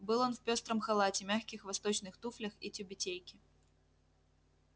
был он в пёстром халате мягких восточных туфлях и тюбетейке